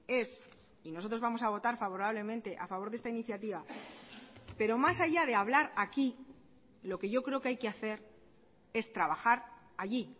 es y nosotros vamos a votar favorablemente a favor de esta iniciativa pero más allá de hablar aquí lo que yo creo que hay que hacer es trabajar allí